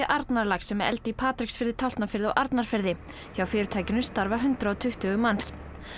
Arnarlax er með eldi í Patreksfirði Tálknafirði og Arnarfirði hjá fyrirtækinu starfa hundrað og tuttugu manns